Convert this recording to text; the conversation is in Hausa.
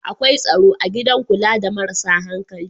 Akwai tsaro a gidan kula da marasa hankali